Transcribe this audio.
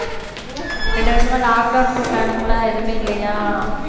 ரெண்டு வருஷமா lock down போட்டானுங்களா எதுவுமே இல்லையா